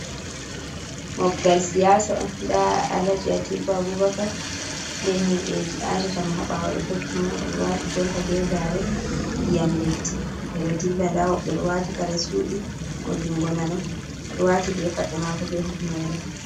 Mobgal siyasa on, nda Alaji Atiku Abubaka be himɓeji aatata mo ha ɓaawo ɗo tokki mo. Oɗo waati jompa be gaare ndiyam leddi, ɓe ɗo dilla nda woɓɓe waati kare suuɗi, mo jungo nano waati be paɗe maako be hufnere.